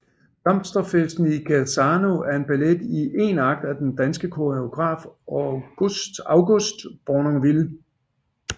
Blomsterfesten i Genzano er en ballet i én akt af den danske koreograf August Bournonville